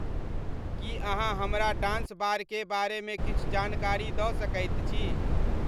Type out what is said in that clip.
की अहाँ हमरा dance bar के बारे में किछु जानकारी द' सकैत छी